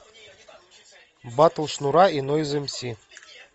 батл шнура и нойз эм си